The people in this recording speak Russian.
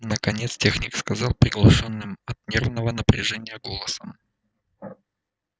наконец техник сказал приглушённым от нервного напряжения голосом